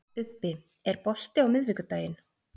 Ubbi, er bolti á miðvikudaginn?